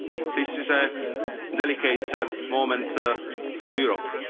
scenario. This is a delicate moment